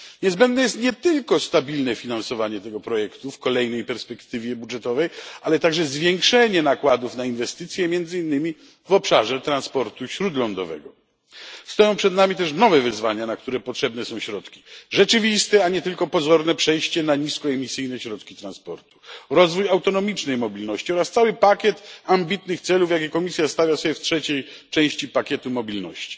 Niezbędne jest nie tylko stabilne finansowanie tego projektu w kolejnej perspektywie budżetowej, ale także zwiększenie nakładów na inwestycje między innymi w obszarze transportu śródlądowego. Stoją przed nami też nowe wyzwania, na które potrzebne są środki rzeczywiste a nie tylko pozorne przejście na niskoemisyjne środki transportu, rozwój autonomicznej mobilności oraz cały pakiet ambitnych celów jakie Komisja stawia sobie w trzeciej części pakietu mobilności.